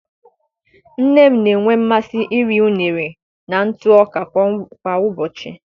Nne m na-enwe mmasị iri unere na ntụ ọka kwa ụbọchị.